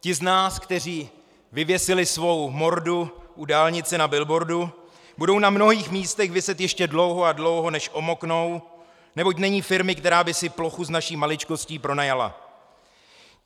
Ti z nás, kteří vyvěsili svou mordu u dálnice na billboardu, budou na mnohých místech viset ještě dlouho a dlouho, než omoknou, neboť není firmy, která by si plochu s naší maličkostí pronajala.